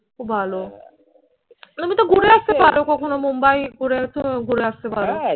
খুব ভালো তুমি তো ঘুরে আসতে পারো কখনো মুম্বাই ঘুরে ঘুরে আসতে পারো